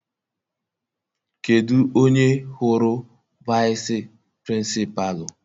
Kedụ onye hụrụ vici Pịrịnsịpalụ?